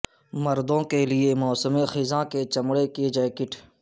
مردوں کے لئے موسم خزاں کے چمڑے کی جیکٹ